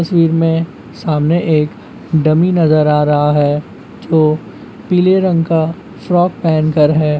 तस्वीर में सामने एक डमी नजर आ रहा है जो पीले रंग का फ्रॉक पहन कर है।